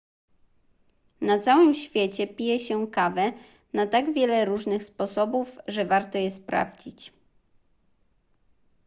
na całym świecie pije się kawę na tak wiele różnych sposobów że warto je sprawdzić